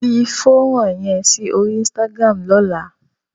Fi fónrán yẹn sí orí Instagram lọ́la!